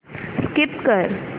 skip कर